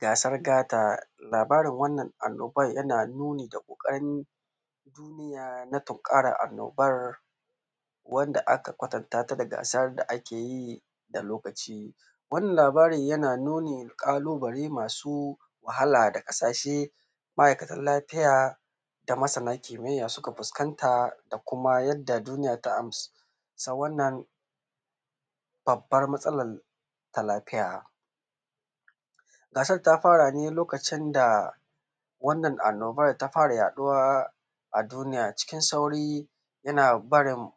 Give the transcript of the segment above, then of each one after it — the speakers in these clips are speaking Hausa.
Gasar gata. Labarin wannan annobar yana nuni ga ƙoƙarin duniya na tunkarar annobar, wanda aka kwatanta ta da gasar da ake yi, da lokaci. Wannan labarin yana nuni ga ƙalubale masu wahala da ƙasashe, ma'aikatan lafiya, da masana kimiyya suka fuskanta, da kuma yadda duniya ta amsa wannan babbar matsalar ta lafiya. Gasar ta fara ne lokacin da wannan annobar ta fara yaɗuwa a duniya cikin sauri yana barin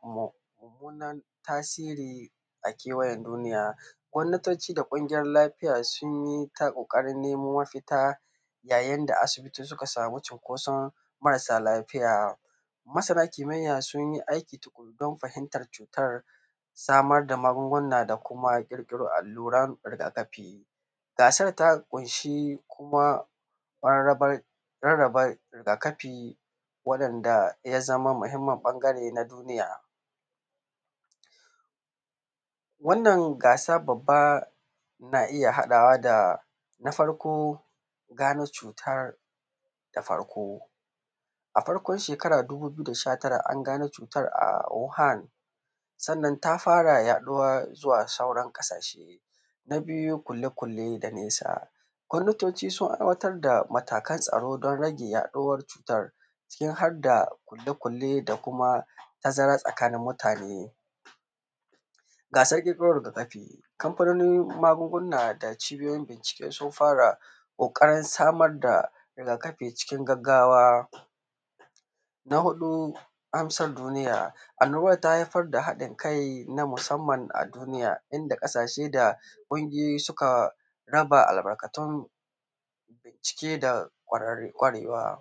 mummunar tasiri, a kewayen duniya. Gwamnatoci da ƙungiyoyin lafiya sun yi ta ƙoƙarin nemo mafita, yayin da asibiti suka samu cunkoson marasa lafiya. Masana kimiyya sun yi aiki tuƙuru don fahimtar cutar, samar da magunguna da kuma ƙirƙiro allurar riga-kafi. Gasar ta ƙunshi kuma mararrabar rarraba riga-kafi waɗanda ya zama muhimmin ɓangare na duniya. Wannan gasa babba, na iya haɗawa da, na farko, gano cutar, A farkon shekara dubu biyu da sha tara, an gano cutar a Wuhan, sannan ta fara yaɗuwa zuwa sauran ƙasashe. Na biyu, ƙulle-ƙulle da nesa. Gwamnatoci sun aiwatar da matakan tsaro don rage yaɗuwar cutar, ciki har da ƙulle-ƙulle da kuma tazara tsakani mutane. Gasar ƙirƙiro riga-kafi, Kamfanonin magunguna da Cibiyoyin bincike sun fara ƙoƙarin samar da riga-kafi cikin gaggawa. Na huɗu, amsa duniya. Annobar ta haifar da haɗin kai na musamman a duniya, inda ƙasashe da ƙungiyoyi suka raba albarkatun bincike da ƙwarar, ƙwarewa.